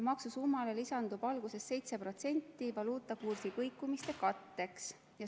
Maksusummale lisandub alguses 7% valuutakursi kõikumiste katteks.